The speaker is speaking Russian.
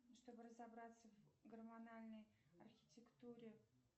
чтобы разобраться в гормональной архитектуре